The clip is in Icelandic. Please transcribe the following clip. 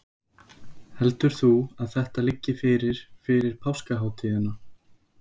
Heldur þú að þetta liggi fyrir fyrir páskahátíðina?